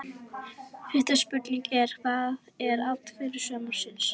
Fyrsta spurningin er: Hvað er atvik sumarsins?